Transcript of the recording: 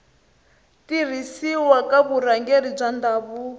tirhisiwa ka vurhangeri bya ndhavuko